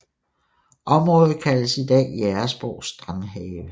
Området kaldes i dag Jægersborg Strandhave